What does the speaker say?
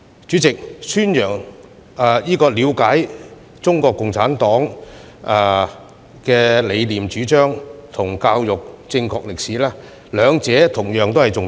主席，了解中國共產黨的理念主張及教育正確的歷史，兩者同樣重要。